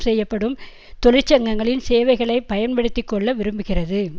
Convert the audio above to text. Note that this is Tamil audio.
செய்யப்படும் தொழிற்சங்கங்களின் சேவைகளை பயன்படுத்தி கொள்ள விரும்புகிறது